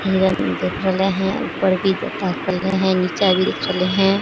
हिरण देख रहले हेय ऊपर भी ताक रहले हेय नीचा भी देख रहले हेय --